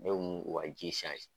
Ne kun b'o ka ji